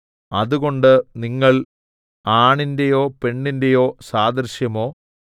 അതുകൊണ്ട് നിങ്ങൾ ആണിന്റെയോ പെണ്ണിന്റെയോ സാദൃശ്യമോ